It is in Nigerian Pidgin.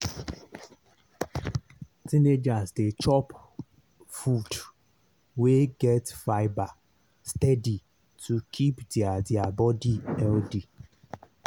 teenagers dey chop food wey get fibre steady to keep their their body healthy.